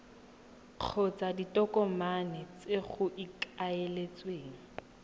kgotsa ditokomane tse go ikaeletsweng